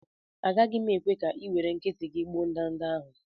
Agaghị m ekwe ka ị were aka nkịtị gị gbuo ndanda ahụ